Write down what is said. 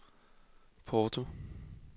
Porto